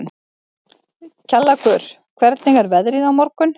Kjallakur, hvernig er veðrið á morgun?